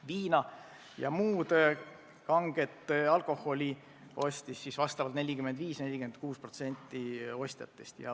Viina ja muud kanget alkoholi ostis 45–46% ostjatest.